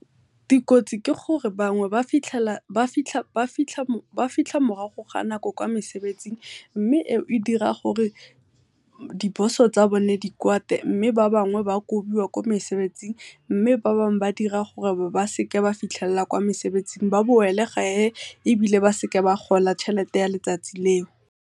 Dikotsi ke gore bangwe ba fitlha morago kwa mosebetsing mme e o e dira gore di boss-o tsa bone di kwate, mme ba bangwe ba kobiwa kwa mesebetsing, mme ba bangwe ba dira gore ba seka ba fitlhelela kwa mesebetsing ba boele gae ebile ba seke ba gola tšhelete ya letsatsi leo.